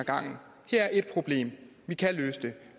gangen her er ét problem vi kan løse det